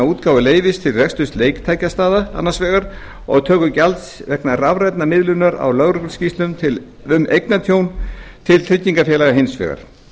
útgáfu leyfis til reksturs leiktækjastaða annars vegar og töku gjalds vegna rafrænnar miðlunar á lögregluskýrslum um eignatjón til tryggingafélaga hins vegar